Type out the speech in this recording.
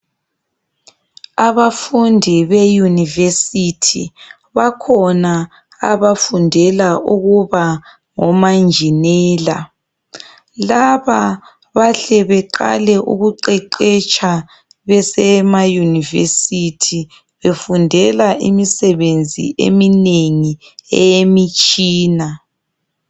Abafundi beyunivesithi. Bakhona abafundela ukuba ngomanjinela. Laba bahle beqale ukuqeqesha besema yunivesithi, befundela imisebenzi eminengi eyemitshina.